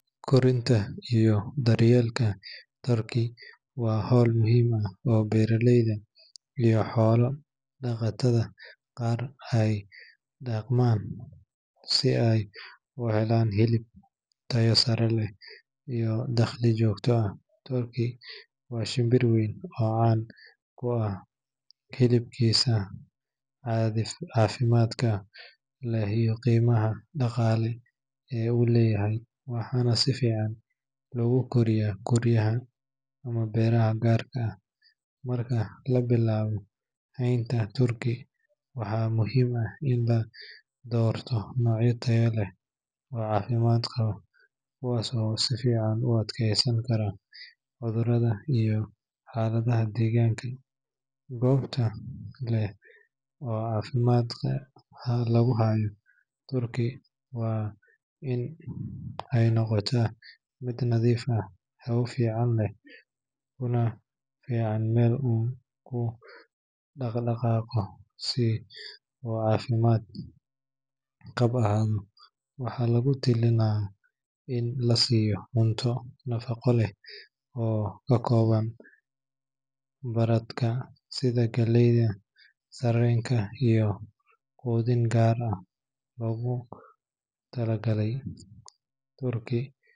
Kordhinta iyo daryeelka turkey waa hawl muhiim ah oo beeraleyda iyo xoolo dhaqatada qaar ay ku dhaqmaan si ay u helaan hilib tayo sare leh iyo dakhli joogto ah. Turkey waa shinbir weyn oo caan ku ah hilibkiisa caafimaadka leh iyo qiimaha dhaqaale ee uu leeyahay, waxaana si fiican loogu koriyaa guryaha ama beeraha gaarka ah. Marka la bilaabayo haynta turkey, waxaa muhiim ah in la doorto noocyo tayo leh oo caafimaad qaba, kuwaas oo si fiican u adkeysan kara cudurrada iyo xaaladaha deegaanka. Goobta lagu hayo turkey waa in ay noqotaa mid nadiif ah, hawo fiican leh, kuna filan meel uu ku dhaqdhaqaaqo si uu caafimaad qab ahaado. Waxaa lagu talinayaa in la siiyo cunto nafaqo leh oo ka kooban badarka sida galleyda, sarreenka, iyo quudin gaar ah oo loogu talagalay turkey.